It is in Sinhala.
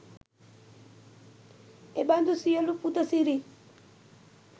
එබඳු සියලු පුද සිරිත්